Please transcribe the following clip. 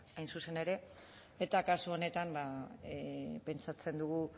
hain zuzen ere eta kasu honetan ba pentsatzen dugu